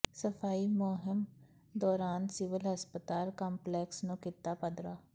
ਸਫ਼ਾਈ ਮੁਹਿੰਮ ਦੌਰਾਨ ਸਿਵਲ ਹਸਪਤਾਲ ਕੰਪਲੈਕਸ ਨੂੰ ਕੀਤਾ ਪੱਧਰਾ